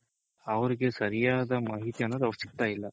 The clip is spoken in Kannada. ಅವ್ರಿಗೆ ಸರಿಯಾದ ಮಾಹಿತಿ ಅನ್ನೋದು ಅವ್ರಿಗೆ ಸಿಗ್ತಾ ಇಲ್ಲ.